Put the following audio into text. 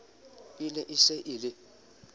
e ne se e le